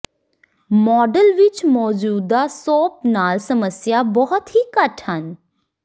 model ਵਿੱਚ ਮੌਜੂਦਾ ਸੋਧ ਨਾਲ ਸਮੱਸਿਆ ਬਹੁਤ ਹੀ ਘੱਟ ਹਨ